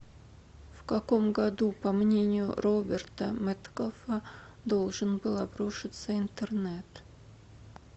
в каком году по мнению роберта меткалфа должен был обрушится интернет